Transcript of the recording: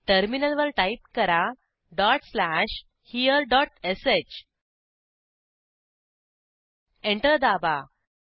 टर्मिनलवर टाईप करा dot slash here dot sh enter दाबा